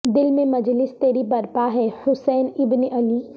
دل میں مجلس تری برپا ہے حسین ابن علی